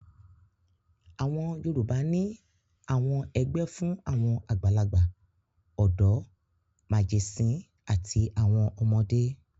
Àwọn Yorùbá ní àwọn ẹgbẹ́ fún àwọn àgbàlagbà, ọ̀dọ́, màgẹ̀sín àti àwọn ọmọdé.